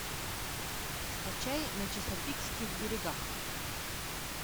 скачай на чесапикских берегах